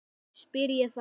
spyr ég þá.